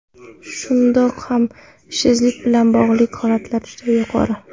Shundoq ham ishsizlik bilan bog‘liq holatlar juda yuqori.